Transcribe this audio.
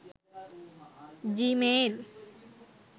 gmail